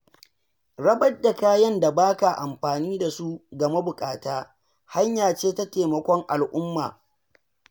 Rabar da kayan da ba ka amfani da su ga mabuƙata hanya ce ta taimakon al’umma.